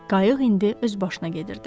Qayıq indi öz başına gedirdi.